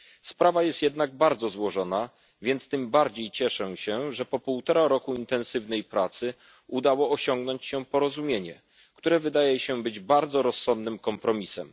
Sprawa jest jednak niezwykle złożona, więc tym bardziej cieszę się, że po półtora roku intensywnej pracy udało się osiągnąć porozumienie, które wydaje się być bardzo rozsądnym kompromisem.